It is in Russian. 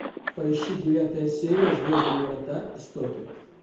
поищи девятая серия звездные врата истоки